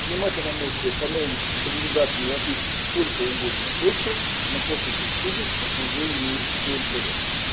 приниматься она можете по новым рекомендациям европейским сколько угодно дольше но после шестидесяти уже не использовать